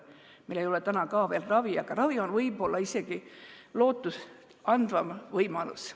Meil ei ole täna ka veel ravi, aga ravi on võib-olla isegi lootustandvam võimalus.